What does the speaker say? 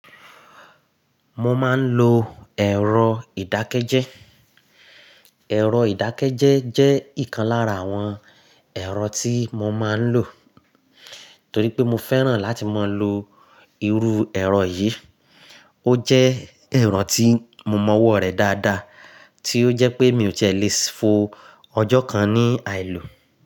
Mo máa ń lo ẹ̀rọ ìdákẹ́jẹ́. Ẹ̀rọ ìdákẹ́jẹ́ jẹ́ ìkan lára àwọn ẹ̀rọ tí mo máa ń lò. Torí pé mo fẹ́ràn láti máa lo irú ẹ̀rọ yìí. Ó jẹ́ ẹ̀rọ tí mo mọ ọwọ́ rẹ̀ dáadáa, tí ó jẹ́ pé mi ò ti é lè fò ọjọ́ kan ní àìlò.